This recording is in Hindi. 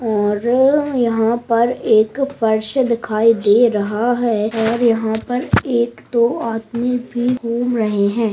और यहां पर एक पर्स दिखाई दे रहा है और यहां पर एक-दो आदमी भी घूम रहे है।